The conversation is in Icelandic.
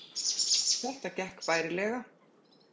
Þetta gekk bærilega